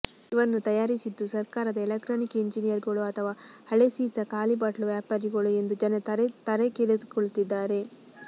ಇವನ್ನು ತಯಾರಿಸಿದ್ದು ಸರ್ಕಾರದ ಎಲೆಕ್ಟ್ರಾನಿಕ್ ಎಂಜಿನಿಯರ್ಗಳೋ ಅಥವ ಹಳೇಸೀಸ ಖಾಲಿ ಬಾಟ್ಲು ವ್ಯಾಪಾರಿಗಳೋ ಎಂದು ಜನರು ತಲೆ ಕೆರೆದುಕೊಳ್ಳುತ್ತಿದ್ದಾರೆ